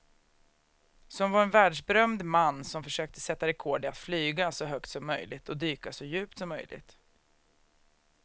Som var en världsberömd man som försökte sätta rekord i att flyga så högt som möjligt och dyka så djupt som möjligt.